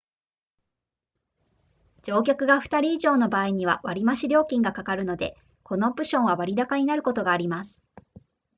乗客が2人以上の場合には割増料金がかかるのでこのオプションは割高になることがあります